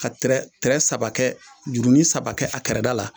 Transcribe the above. Ka tirɛ tirɛ saba kɛ juruni saba kɛ a kɛrɛda la